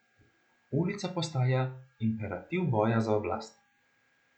Ulica postaja imperativ boja za oblast.